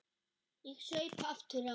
Ég saup aftur á.